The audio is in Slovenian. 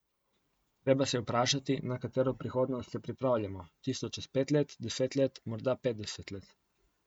Treba se je vprašati, na katero prihodnost se pripravljamo, tisto čez pet let, deset let, morda petdeset let.